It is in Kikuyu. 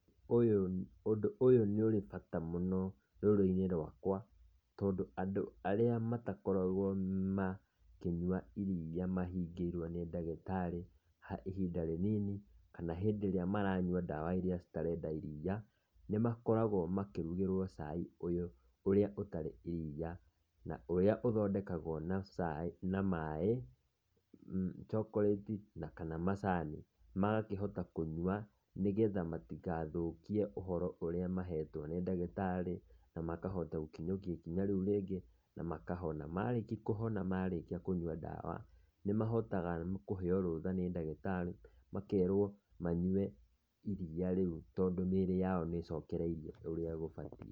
Ũyũ ũndũ ũyũ nĩ ũrĩ bata mũno rũrĩrĩ-inĩ rwakwa tondũ andũ arĩa matakoragwo makĩnyua iriia mahingĩirwo nĩ ndagĩtarĩ ihinda rĩnini kana hĩndĩ ĩrĩa maranyua ndawa irĩa citarenda iriia, nĩ makoragwo makĩrugĩrwo cai ũyũ ũrĩa ũtarĩ iriia na ũrĩa ũthondekagwo na cai na maĩ, chocolate na kana macani magakĩhota kũnyua nĩ getha matigathũkie ũhoro ũrĩa mahetwo nĩ ndagĩtarĩ na makahota gũkinyũkia ikinya rĩu rĩngĩ na makahona. Marĩki kũhona marĩkia kũnyua ndawa nĩ mahotaga kũheo rũũtha nĩ ndagĩtarĩ makerwo manyue iriia rĩu tondũ mĩĩrĩ yao nĩ ĩcokereirie ũrĩa gũbatiĩ.